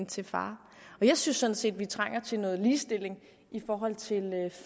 til far jeg synes sådan set vi trænger til noget ligestilling i forhold til